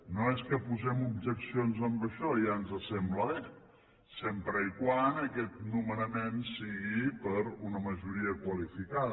no és que posem objeccions amb això ja ens sembla bé sempre que aquest nomenament sigui per una majoria qualificada